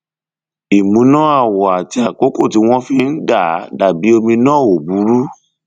ìmúná àwọ àti àkókò tí wọn fi ń dà á dàbí omi náà ò ò burú